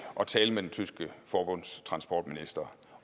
at tale med den tyske forbundstransportminister